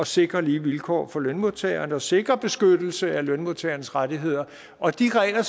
sikre lige vilkår for lønmodtagerne og sikre beskyttelse af lønmodtagernes rettigheder og de regler